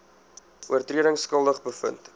oortredings skuldig bevind